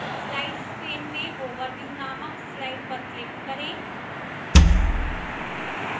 slides pane में overview नामक slide पर click करें